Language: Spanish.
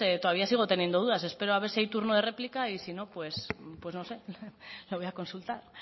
todavía sigo teniendo dudas espero a ver si hay turno de réplica y si no pues no sé lo voy a consultar